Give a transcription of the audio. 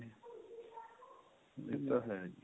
ਇਹ ਤਾ ਹੈ ਜੀ